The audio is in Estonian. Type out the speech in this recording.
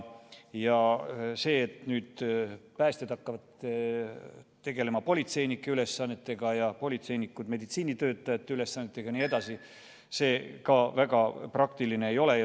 See, et nüüd päästjad hakkavad tegelema politseinike ülesannetega ja politseinikud meditsiinitöötajate ülesannetega jne, ka väga praktiline ei ole.